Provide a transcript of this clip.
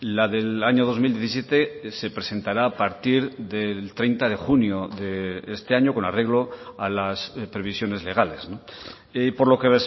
la del año dos mil diecisiete se presentará a partir del treinta de junio de este año con arreglo a las previsiones legales por lo que